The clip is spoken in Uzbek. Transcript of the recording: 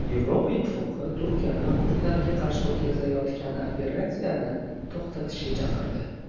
Yevropa Ittifoqi Turkiyani kurdlarga qarshi o‘tkazilayotgan operatsiyani to‘xtatishga chaqirdi.